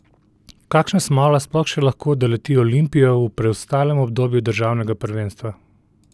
Kakšna smola sploh še lahko doleti Olimpijo v preostalem obdobju državnega prvenstva?